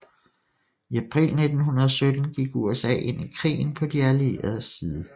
I april 1917 gik USA ind i krigen på De Allieredes side